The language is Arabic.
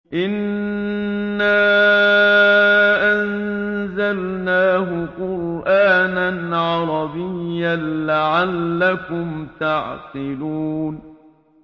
إِنَّا أَنزَلْنَاهُ قُرْآنًا عَرَبِيًّا لَّعَلَّكُمْ تَعْقِلُونَ